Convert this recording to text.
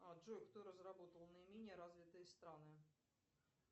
джой кто разработал наименее развитые страны